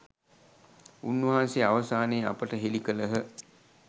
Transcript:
උන්වහන්සේ අවසානයේ අපට හෙළි කළහ.